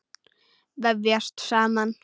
Vefjast saman.